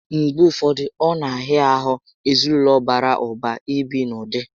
Mgbe ụfọdụ, ọ na ahịa ahụ ezinaụlọ bàrà ụba ibi n'ụdị